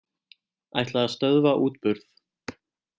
Ætla að stöðva útburð